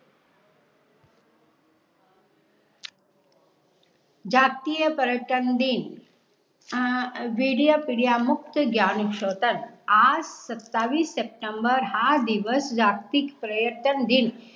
जागतिक पर्यटन दिन बेडिया पेडिया मुक्त ज्ञानिशोत्तल. आज सत्तावीस सप्टेंबर हा दिवस जागतिक पर्यटन दिन